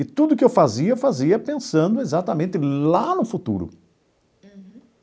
E tudo o que eu fazia, eu fazia pensando exatamente lá no futuro. Uhum.